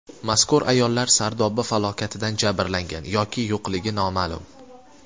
Mazkur ayollar Sardoba falokatidan jabrlangan yoki yo‘qligi noma’lum.